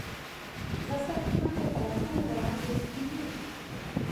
Za sladkanje pa lahko uporabite tudi med.